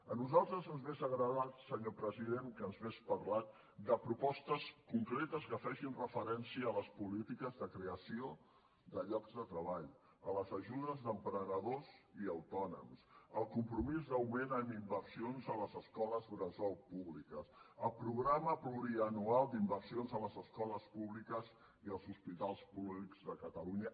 a nosaltres ens hauria agradat senyor president que ens hagués parlat de propostes concretes que facin referència a les polítiques de creació de llocs de treball a les ajudes d’emprenedors i autònoms al compromís d’augment en inversions de les escoles bressol públiques a programa plurianual d’inversions a les escoles públiques i als hospitals públics de catalunya